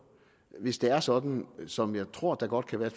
hvis det er sådan som jeg tror det godt kan være